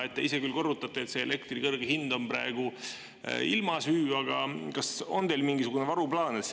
Te ise küll korrutate, et elektri kõrge hind on praegu ilma süü, aga kas teil on mingisugune varuplaan?